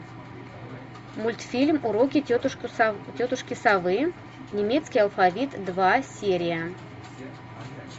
мультфильм уроки тетушки совы немецкий алфавит два серия